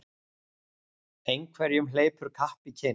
Einhverjum hleypur kapp í kinn